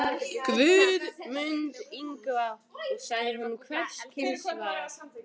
Guð mund Ingva, og sagði honum hvers kyns var.